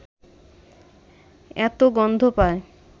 এত গন্ধ পায়